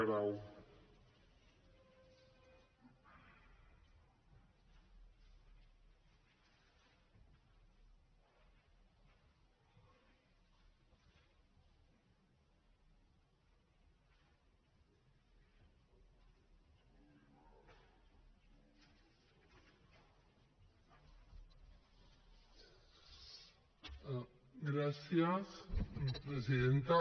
gràcies presidenta